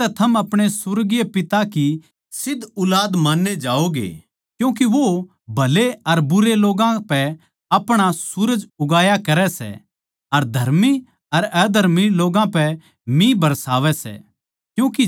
जिसतै थम अपणे सुर्गीय पिता की सिध्द ऊलाद मान्ये जाओगे क्यूँके वो भले अर बुरे लोग्गां पै अपणा सूरज उगाया करै सै अर धर्मी अर अधर्मी लोग्गां पै मिह बरसावै सै